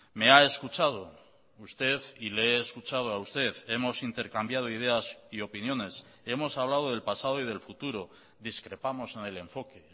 me ha escuchado usted y le he escuchado a usted hemos intercambiado ideas y opiniones hemos hablado del pasado y del futuro discrepamos en el enfoque